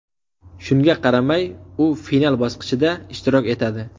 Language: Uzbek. Shunga qaramay, u final bosqichida ishtirok etadi.